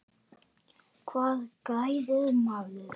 Hvað græðir maður?